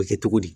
O bɛ kɛ cogo di